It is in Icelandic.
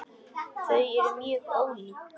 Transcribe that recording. Þau eru mjög ólík.